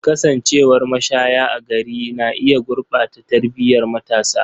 Kasancewar mashaya a gari na iya gurɓata tarbiyar matasa.